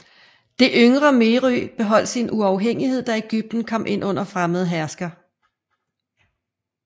Det yngre Meroë beholdt sin uafhængighed da Egypten kom ind under fremmede herskere